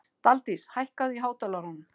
Daldís, hækkaðu í hátalaranum.